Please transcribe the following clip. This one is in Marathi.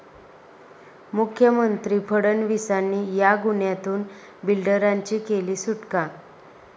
मुख्यमंत्री फडणवीसांनी 'या' गुन्ह्यातून बिल्डरांची केली सुटका